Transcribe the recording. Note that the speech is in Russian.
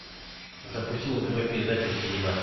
запусти на тв передачу синема